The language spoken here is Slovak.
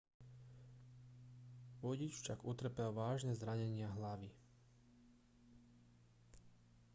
vodič však utrpel vážne zranenia hlavy